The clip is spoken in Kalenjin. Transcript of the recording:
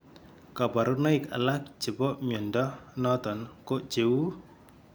kabarunaik alak chebo mnyondo noton ko cheuu